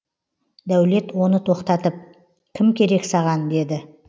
дәулет оны тоқтатып кім керек саған деді